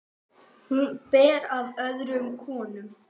Hún ber af öðrum konum.